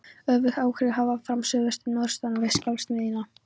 Öfug áhrif koma fram suðvestan og norðaustan við skjálftamiðjuna.